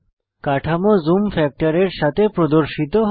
কাঠামো জুম ফ্যাক্টরের সাথে প্রদর্শিত হয়